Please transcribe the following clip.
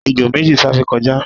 ejò méji sáré kọjá